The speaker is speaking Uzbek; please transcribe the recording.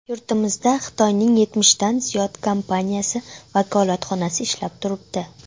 Yurtimizda Xitoyning yetmishdan ziyod kompaniyasi vakolatxonasi ishlab turibdi.